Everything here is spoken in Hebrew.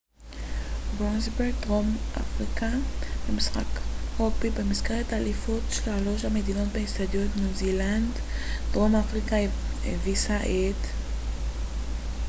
דרום אפריקה הביסה את all blacks ניו זילנד במשחק רוגבי במסגרת אליפות שלוש המדינות באצטדיון royal bafokeng ברוסטנברג דרום אפריקה